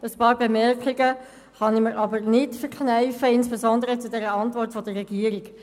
Einige Bemerkungen kann ich mir aber nicht verkneifen, insbesondere zur Antwort der Regierung.